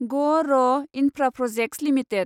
ग R Infraprojects limited